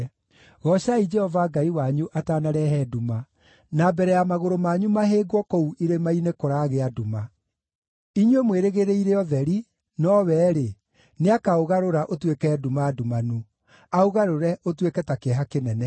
Goocai Jehova Ngai wanyu atanarehe nduma, na mbere ya magũrũ manyu mahĩngwo kũu irĩma-inĩ kũragĩa nduma. Inyuĩ mwĩrĩgĩrĩire ũtheri, nowe-rĩ, nĩakaũgarũra ũtuĩke nduma ndumanu, aũgarũre ũtuĩke ta kĩeha kĩnene.